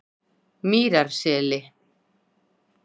Mýrarseli